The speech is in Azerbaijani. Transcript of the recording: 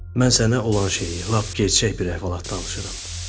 Mən sənə olan şeyi, lap gerçək bir əhvalat danışıram.